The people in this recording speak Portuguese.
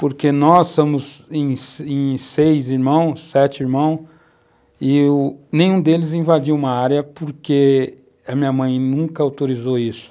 Porque nós somos seis irmãos, sete irmãos, e nenhum deles invadiu uma área porque a minha mãe nunca autorizou isso.